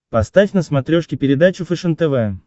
поставь на смотрешке передачу фэшен тв